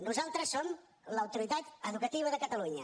nosaltres som l’autoritat educativa de catalunya